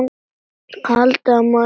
Haldiði að maður sé alger!